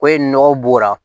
Ko ye nɔgɔ bɔrɛ